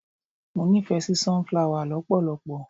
Mo nífẹ̀ẹ́ sí sun-flower lọpọlọpọ.